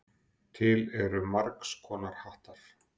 Til eru margs konar hattar.